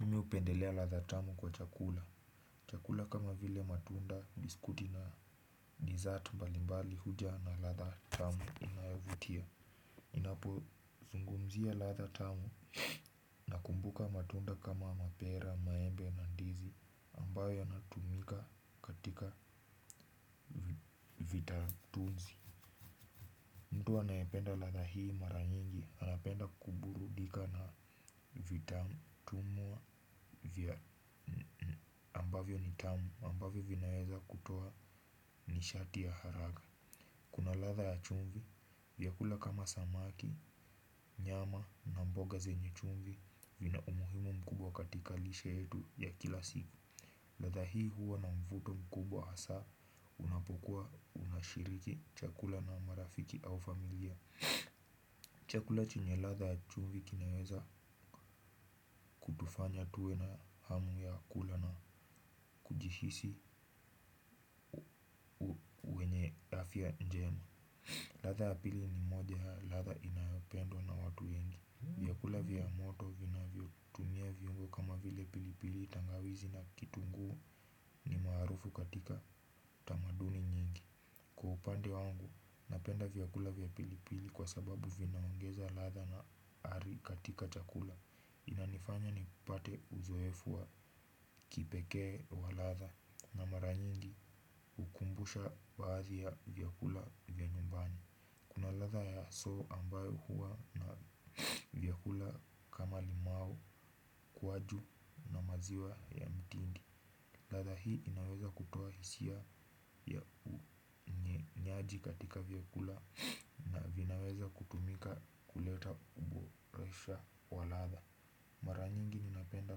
Mimi hupendelea ladha tamu kwa chakula chakula kama vile matunda, biskuti na dessert mbalimbali huja na ladha tamu inayovutia ninapo zungumzia ladha tamu, nakumbuka matunda kama mapera, maembe na ndizi ambayo yanatumika katika vitatunzi. Mtu anayependa ladha hii mara nyingi, anapenda kuburudika na vitafunwa ambavyo ni tamu ambavyo vinaweza kutoa ni shati ya haraka. Kuna ladha ya chumvi, viakula kama samaki, nyama na mboga zenye chumvi vina umuhimu mkubwa katika lishe yetu ya kila siku. Ladha hii huwa na mvuto mkubwa hasa unapokuwa unashiriki chakula na marafiki au familia. Chakula chunye ladha ya chumvi kinaweza kutufanya tuwe na hamu ya kula na kujihisi afya njema. Ladha ya pili ni moja ya ladha inayopendwa na watu. Vyakula vya moto vinavyo tumia viungu kama vile pilipili, tangawizi na kitungu ni maarufu katika tamaduni nyingi. Kwa upande wangu, napenda vyakula vya pilipili kwa sababu vinaongeza ladha na ari katika chakula. Inanifanya nipate uzoefu wa kipekee wa ladha na mara nyingi hunikumbusha baadhi ya vyakula vya nyumbani. Kuna ladha ya chachu ambayo huwa na vyakula kama limao, kuwaju, maziwa ya mtindi. Ladha hii inaweza kutoa hisia ya unywaji katika vyakula na vinaweza kutumika kuleta uboreshaji wa ladha. Mara nyingi ninapenda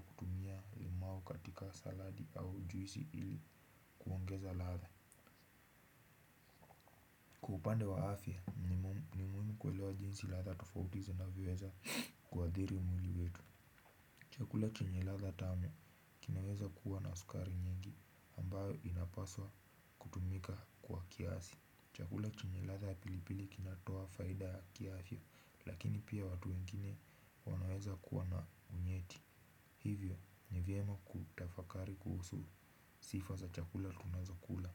kutumia limau katika saladi au juisi ili kuongeza ladha. Upande wa afya, nimuhimu kuelewa jinsi ladha tofauti zinavyo weza kuadhiri mwili wetu. Chakula chenye ladha tamu kinaweza kuwa na sukari nyingi ambayo inapaswa kutumika kiasi. Chakula chenye ladha ya pilipili kinatoa faida ya kiafya, lakini pia watu wengine wanaweza kuwa na unyeti hivyo ni vyema kutafakari kuhusu sifa za chakula tunazo kula.